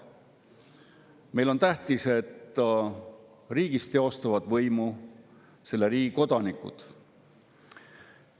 Meile on tähtis, et riigis teostavad võimu riigi kodanikud.